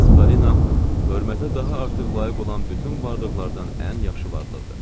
Miss Palina hörmətə daha artıq layiq olan bütün varlıqlardan ən yaxşı varlıqdır.